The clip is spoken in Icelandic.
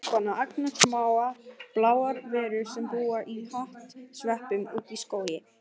Margir kannast við Strumpana, agnarsmáar bláar verur sem búa í hattsveppum úti í skógi.